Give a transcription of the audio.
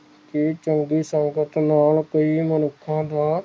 ਚੰਗੀ ਸੰਗਤ ਨਾਲ ਕਈ ਮਨੁਖਾਂ ਦਾ